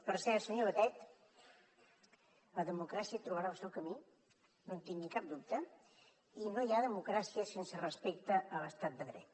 per cert senyor batet la democràcia trobarà el seu camí no en tingui cap dubte i no hi ha democràcia sense respecte a l’estat de dret